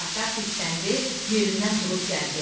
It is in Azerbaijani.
Basat hirsləndi, yerindən durub gəldi.